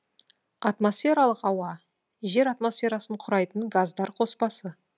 атмосфералық ауа жер атмосферасын құрайтын газдар қоспасы